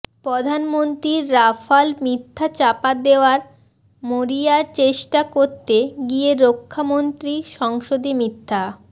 প্রধানমন্ত্রীর রাফাল মিথ্যা চাপা দেওয়ার মরিয়াচেষ্টা করতে গিয়ে রক্ষামন্ত্রী সংসদে মিথ্যা